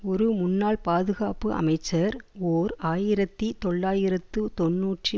ஒரு முன்னாள் பாதுகாப்பு அமைச்சர் ஓர் ஆயிரத்தி தொள்ளாயிரத்து தொன்னூற்றி